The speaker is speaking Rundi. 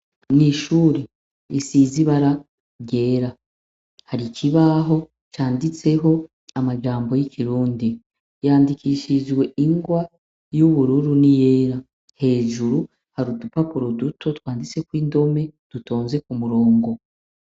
Mw'ishuri risize ibara ryera hari ikibaho canditseho amajambo y'ikirundi, yandikishijwe ingwa y'ubururu niyera, hejuru hari udupapuro duto twanditseko indome dutonze k'umurongo.